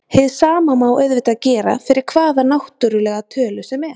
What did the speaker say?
Hið sama má auðvitað gera fyrir hvaða náttúrlega tölu sem er.